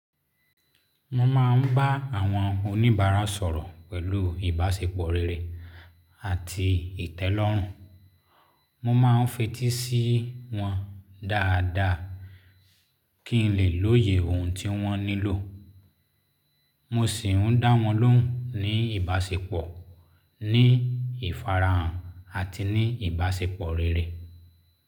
Mo máa ń bá àwọn oníbàárà sọ̀rọ̀ pẹ̀lú ìbáṣepọ̀ rere àti ìtẹ́lọ́rùn. Mo máa ń fetí sí wọn dáadáa kí n lè lóye ohun tí wọ́n nílò. Mo sì ń dá wọn lóhùn ní ìbáṣepọ̀, ní ìfarahàn àti ní ìbáṣepọ̀ rere.